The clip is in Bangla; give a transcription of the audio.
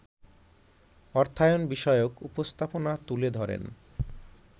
অর্থায়ন বিষয়ক উপস্থাপনা তুলে ধরেন